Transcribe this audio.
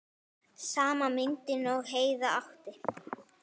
Sama myndin og Heiða átti.